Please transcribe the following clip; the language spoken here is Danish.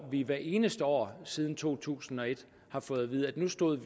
vi hvert eneste år siden to tusind og et har fået at vide at vi nu stod